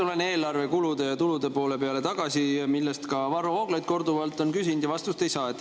Ma tulen tagasi eelarve kulude ja tulude poole peale, mille kohta ka Varro Vooglaid on korduvalt küsinud, aga vastust ei saa.